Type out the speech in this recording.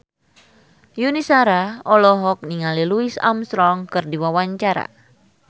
Yuni Shara olohok ningali Louis Armstrong keur diwawancara